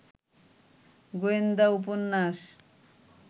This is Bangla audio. গোয়েন্দা উপন্যাস